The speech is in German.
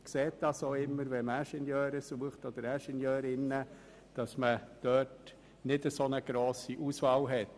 Sucht man Ingenieure oder Ingenieurinnen, sieht man auch immer, dass keine so grosse Auswahl besteht.